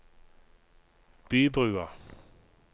Bybrua